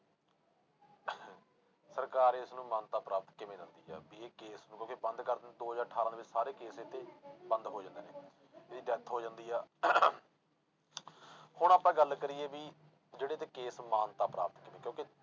ਸਰਕਾਰ ਇਸਨੂੰ ਮਾਨਤਾ ਪ੍ਰਾਪਤ ਕਿਵੇਂ ਦਿੰਦੀ ਆ ਵੀ ਇਹ case ਨੂੰ ਕਿਉਂਕਿ ਬੰਦ ਕਰ ਦੋ ਹਜ਼ਾਰ ਅਠਾਰਾਂ ਦੇ ਵਿੱਚ ਸਾਰੇ case ਇਹਤੇ ਬੰਦ ਹੋ ਜਾਂਦੇ ਨੇ ਇਹਦੀ death ਹੋ ਜਾਂਦੀ ਆ ਹੁਣ ਆਪਾਂ ਗੱਲ ਕਰੀਏ ਵੀ ਜਿਹੜੇ ਤੇ case ਮਾਨਤਾ ਪ੍ਰਾਪਤ ਨੇ ਕਿਉਂਕਿ